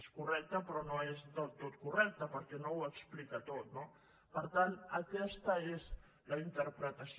és correcta però no és del tot correcta perquè no ho explica tot no per tant aquesta és la interpretació